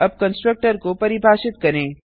अब कंस्ट्रक्टर को परिभाषित करें